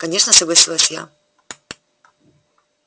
конечно согласилась я